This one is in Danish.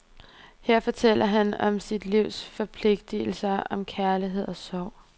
Her fortæller han om sit livs forpligtigelse, om kærlighed og sorg.